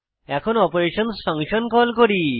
এখন অপারেশনসহ function call করি